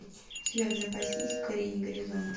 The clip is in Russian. у тебя в запасе есть покорение горизонта